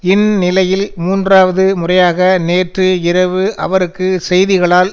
இந்நிலையில் மூன்றாவது முறையாக நேற்று இரவு அவருக்கு செய்திகளால்